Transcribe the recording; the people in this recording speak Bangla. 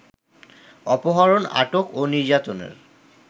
অপহরণ, আটক ও নির্যাতনের